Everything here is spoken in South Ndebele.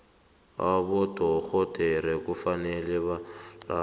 abodorhodera kufanele belaphe